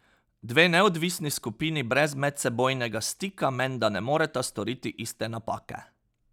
Dve neodvisni skupini brez medsebojnega stika menda ne moreta storiti iste napake.